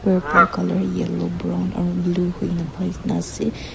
purple colour yellow brown aru blue hui nah ase.